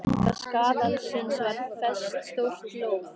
Á enda kaðalsins var fest stórt lóð.